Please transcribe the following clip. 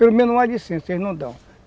Pelo menos uma, porque eles não dão.